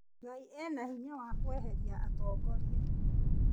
Ngai ena hinya wa kweheria atongoria